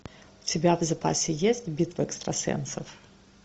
у тебя в запасе есть битва экстрасенсов